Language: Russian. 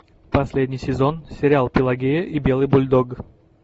последний сезон сериал пелагея и белый бульдог